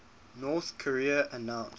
north korea announced